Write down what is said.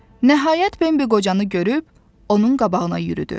Nəhayət Bembi qocanı görüb onun qabağına yürüdü.